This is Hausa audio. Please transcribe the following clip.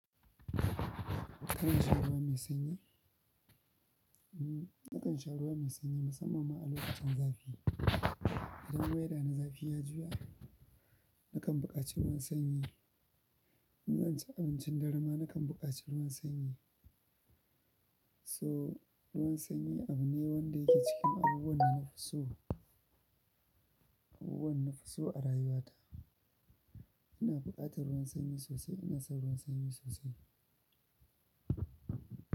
Kana sha ruwa mai sanyi? Hmm, nakan sha ruwa mai sanyi musamman ma a lokacin zafi, idan waida na zafi ya juya, nakan buƙaci ruwan sanyi. In zan ci abincin dare ma nakan buƙaci ruwan sanyi. So ruwan sanyi abu ne wanda yake cikin abubuwan na nafi so, abubuwan nafi so a rayuwata. Ina buƙatar ruwan sanyi sosai, ina son ruwan sanyi sosai.